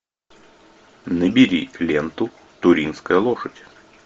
набери ленту туринская лошадь